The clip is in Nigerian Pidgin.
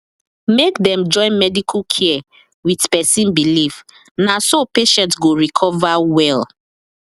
make dem join medical care with person believe na so patient go recover well